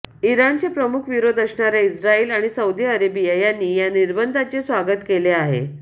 इराणचे प्रमुख विरोध असणाऱ्या इस्रायल आणि सौदी अरेबिया यांनी या निर्बंधांचे स्वागत केले आहे